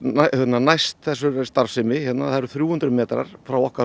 næst þessari starfsemi það eru þrjú hundruð metrar frá okkar